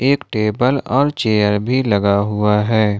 एक टेबल और चेयर भी लगा हुआ है।